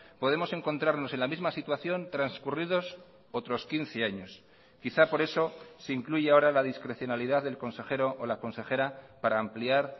podemos encontrarnos en la misma situación transcurridos otros quince años quizá por eso se incluye ahora la discrecionalidad del consejero o la consejera para ampliar